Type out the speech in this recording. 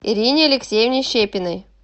ирине алексеевне щепиной